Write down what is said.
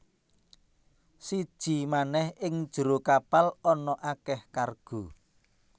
Siji manèh ing njero kapal ana akèh kargo